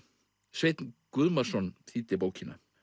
Sveinn Guðmarsson þýddi bókina